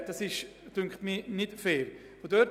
Das wäre nicht fair.